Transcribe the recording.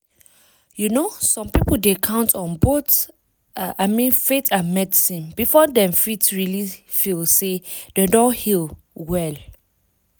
you know some people dey count on both— i mean faith and medicine before dem fit really feel say dem don heal well.